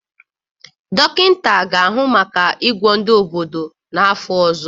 Dọkịta ga-ahụ maka ịgwọ ndị obodo n'afọ ọzọ